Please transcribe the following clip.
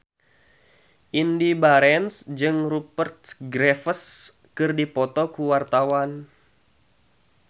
Indy Barens jeung Rupert Graves keur dipoto ku wartawan